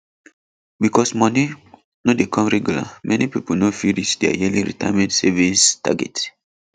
because moni no dey come regular many people no fit reach their yearly retirement savings target